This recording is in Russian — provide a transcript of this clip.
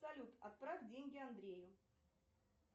салют отправь деньги андрею